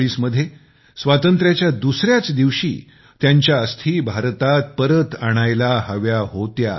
1947 मध्ये स्वातंत्र्याच्या दुसऱ्या दिवशीच त्यांच्या अस्थी भारतात परत आणायला हव्या होत्या